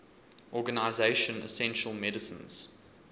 organization essential medicines